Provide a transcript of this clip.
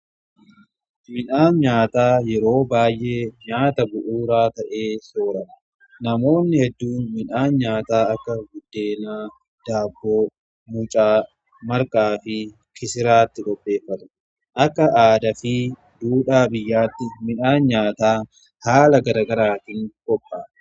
Midhaan nyaataa yeroo baay'ee nyaata bu'uuraa ta'ee soorama. Namoonni hedduu midhaan nyaataa akka buddeenaa, daabboo, muucaa, marqaa fi kisiraatti qopheeffatu. Akka aadaa fi duudhaa biyyaatti midhaan nyaataa haala garagaraatiin qophaa'a.